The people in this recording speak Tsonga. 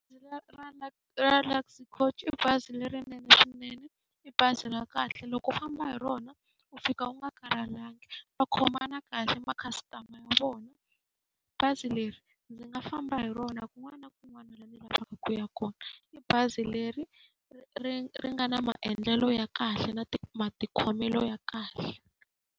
Ra Luxy Couch i bazi lerinene swinene, i bazi ra kahle. Loko u famba hi rona u fika u nga karhalangi, Va khomana kahle na ma-customer ya vona. Bazi leri u nga famba hi rona kun'wna na kun'wana ku ya kona. I bazi leri ri nga na maendlelo ya kahle na matikhomelo ya kahle.